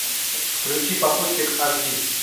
включи попутчик аш ди